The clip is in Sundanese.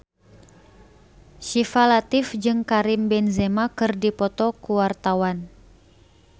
Syifa Latief jeung Karim Benzema keur dipoto ku wartawan